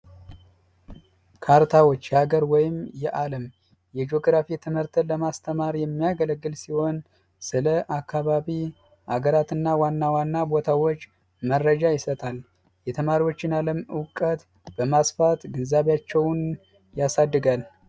ካርታዎች የሀገር ወይም የአለም የጂኦግራፊ ትምህርትን ለማስተማር የሚያገለግል ሲሆን ስለ አካባቢ ፣ሀገራት እና ዋና ዋና ቦታዎች መረጃ ይሰጣል። የተማሪዎችን አለም እውቀት በማስፋት ግንዛቤያቸውን ያሳድጋል።